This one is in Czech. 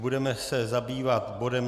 Budeme se zabývat bodem